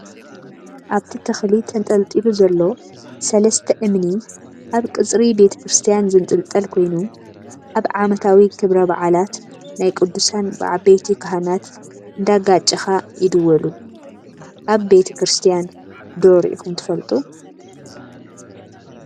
ኣብቲ ተኽሊ ተንጠልጢሉ ዘሎ 3+ እምኒ ኣብ ቅፅሪ ቤተ ክርስትያን ዝንጥልጠል ኮይኑ ኣብ ዓመታዊ ክብረ በዓላት ናይ ቅዱሳን ብዓበይቲ ካህናት እንዳጋጨኻ ይድወሉ፡፡ ኣብ ቤተ ክርስትያን ዶ ሪኢኹም ትፈልጡ?